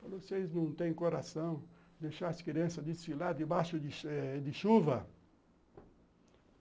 Falei, vocês não têm coração de deixar as crianças desfilar debaixo de de chuva?